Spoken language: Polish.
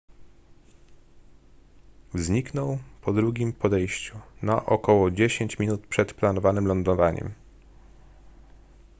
zniknął po drugim podejściu na około dziesięć minut przed planowanym lądowaniem